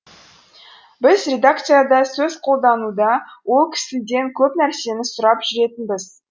біз редакцияда сөз қолдануда ол кісіден көп нәрсені сұрап жүретінбіз